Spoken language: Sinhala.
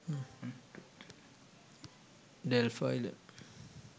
delft island